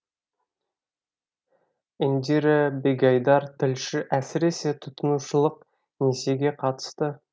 индира бегайдар тілші әсіресе тұтынушылық несиеге қатысты